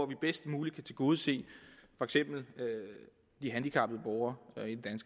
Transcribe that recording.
vi bedst muligt kan tilgodese for eksempel de handicappede borgere